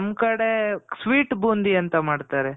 ನಮ್ ಕಡೆ sweet ಬೂಂದಿ ಅಂತ ಮಾಡ್ತಾರೆ.